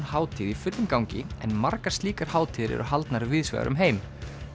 hátíð í fullum gangi en margar slíkar hátíðir eru haldnar víðs vegar um heim